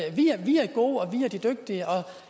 gode og vi er de dygtige og